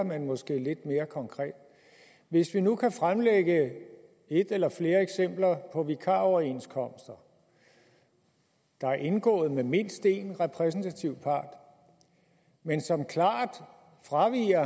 men måske lidt mere konkret hvis vi nu kan fremlægge et eller flere eksempler på vikaroverenskomster der er indgået med mindst én repræsentativ part men som klart fraviger